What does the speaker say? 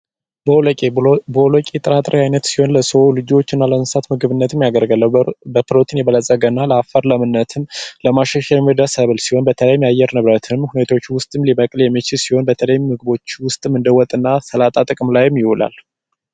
ቦሎቄ ቦሎቄ የጥራጥሬ አይነት ሲሆን ለሰው ልጆች እና ለእንስሳትም ምግብ ይሆናል የእርሻ ለምነትና ለአፈር ብልጽግናም ያገለግላል በተለያዩ የአየር ንብረት ሁኔታ ሊበቅል ስለሚችል በተለያዩ ምግቦች ውስጥም እንደ ሰላጣና ወጥ ውስጥም ይውላል።